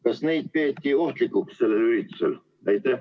Kas neid peeti sellel üritusel ohtlikuks?